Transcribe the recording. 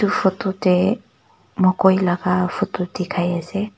photo de mokoi laga photo dikhai ase.